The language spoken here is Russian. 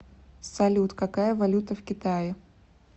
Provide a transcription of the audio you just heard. салют какая валюта в китае